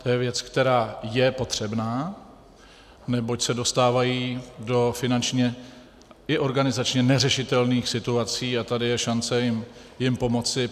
To je věc, která je potřebná, neboť se dostávají do finančně i organizačně neřešitelných situací a tady je šance jim pomoci.